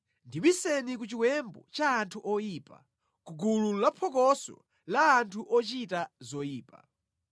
Ndibiseni ku chiwembu cha anthu oyipa, ku gulu laphokoso la anthu ochita zoyipa.